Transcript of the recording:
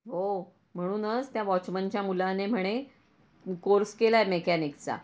हो म्हणूनच त्या वॉचमॅनच्या मुलाने म्हणे कोर्स केला आहे मेकॅनिक चा.